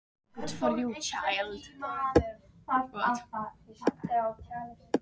Þetta var undarlegasta herbergi í heimi.